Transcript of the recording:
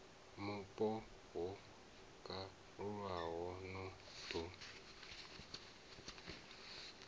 mupo ho kalulaho no ḓo